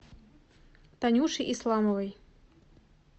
танюши исламовой